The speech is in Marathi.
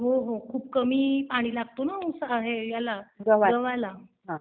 हो हो खूप कमी पाणी लागतं ना गव्हाला.